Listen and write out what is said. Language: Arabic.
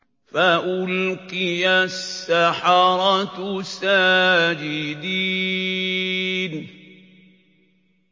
فَأُلْقِيَ السَّحَرَةُ سَاجِدِينَ